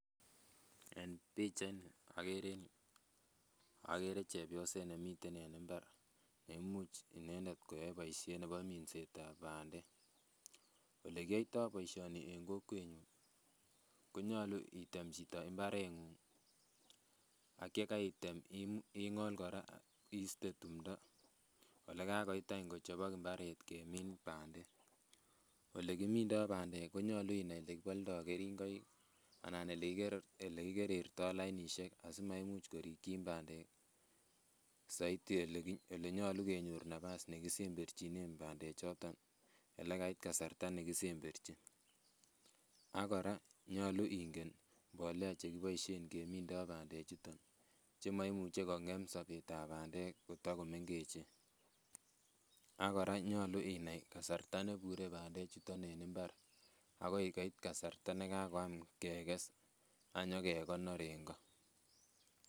En pichait ni okere en yuu okere chepyoset nemiten en mbar neimuch inendet koyoe boisietab minset ab bandek, olekiyoitoo boisioni en kokwetnyun konyolu item chito mbaret ng'ung ak yekaitem ing'ol kora iste tumdo ak elekakoit kochobok mbaret kemin bandek olekimindoo bandek konyolu inai elekiboldoo keringoik anan elekikerertoo lainisiek asimaimuch korikyin bandek soiti elenyolu kenyor nafas nekisemberchinen bandek choton elekait kasarta nekisemberchin ak kora nyolu ingen mbolea chekiboisien kemindoo bandek chuton chemoimuche kong'em sobetab bandek kotakomengechen ak kora nyolu inai kasarta nebure bandek chuton en mbar akoi koit kasarta nekakoit kasarta kekes ak nyokekonor en go